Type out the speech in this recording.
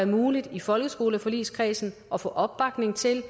muligt i folkeskoleforligskredsen at få opbakning til